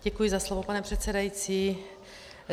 Děkuji za slovo, pane předsedající.